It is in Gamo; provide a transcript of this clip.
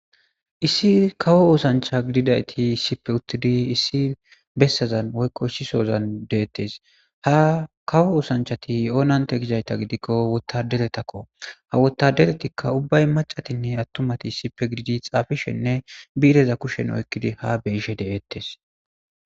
issi kawo oosancha gididayti issipe uttidi issi bessazan woykqo ssisozan deettes ha kawo oosanchati oonante gidayta gidikko wotadeletakko ha wotadeletikka ubbay macatinne attumati issipe gididi xaafishenne biireza kushen oykkidi ha beishe deeettes